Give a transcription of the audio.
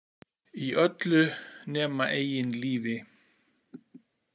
Í öllu nema eigin lífi.